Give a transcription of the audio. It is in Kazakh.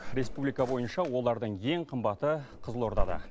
республика бойынша олардың ең қымбаты қызылордада